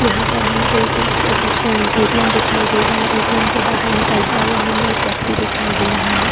यहाँ पर हमें ए एक एट अ ए. टी. एम. दिखाई दे रहा है ए.टी.एम. से बाहर निकलते हुआ हमें एक व्यक्ति दिखाई दे रहा है।